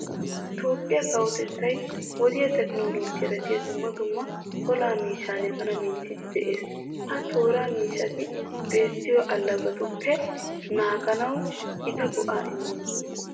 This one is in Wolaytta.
Toophphiya kawotettay wodiya tekinoollojiyara biya dumma dumma olaa miishshan bana minttiiddi de'ees. Ha tooraa miishshati biittiyo allagatuppe naaganawu gita go"aa immoosona.